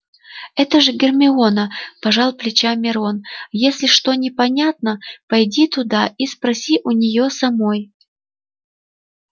это же гермиона пожал плечами рон если что непонятно пойди туда и спроси у неё самой